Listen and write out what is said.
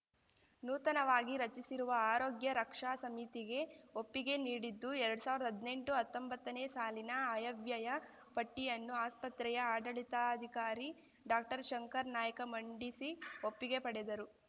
ನೂತನವಾಗಿ ರಚಿಸಿರುವ ಆರೋಗ್ಯ ರಕ್ಷಾ ಸಮಿತಿಗೆ ಒಪ್ಪಿಗೆ ನೀಡಿದ್ದು ಎರಡ್ ಸಾವಿರ್ದಾ ಹದ್ನೆಂಟುಹತ್ತೊಂಬತ್ತನೇ ಸಾಲಿನ ಅಯ್ಯವ್ಯಯ ಪಟ್ಟಿಯನ್ನು ಆಸ್ಪತ್ರೆಯ ಆಡಳಿತಾಧಿಕಾರಿ ಡಾಕ್ಟರ್ಶಂಕರನಾಯ್ಕ ಮಂಡಿಸಿ ಒಪ್ಪಿಗೆ ಪಡೆದರು